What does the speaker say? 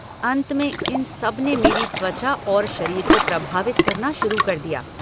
अंत में, इन सब ने मेरी त्वचा और शरीर को प्रभावित करना शुरु कर दिया।